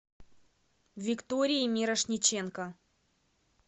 викторией мирошниченко